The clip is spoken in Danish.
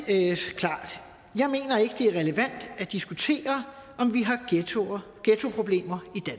det er relevant at diskutere om vi har ghettoproblemer